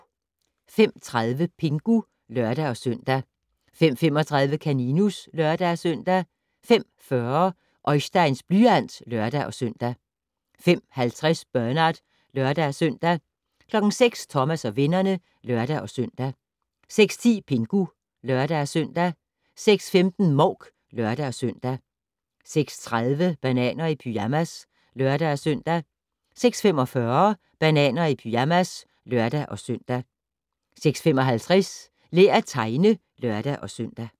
05:30: Pingu (lør-søn) 05:35: Kaninus (lør-søn) 05:40: Oisteins blyant (lør-søn) 05:50: Bernard (lør-søn) 06:00: Thomas og vennerne (lør-søn) 06:10: Pingu (lør-søn) 06:15: Mouk (lør-søn) 06:30: Bananer i pyjamas (lør-søn) 06:45: Bananer i pyjamas (lør-søn) 06:55: Lær at tegne (lør-søn)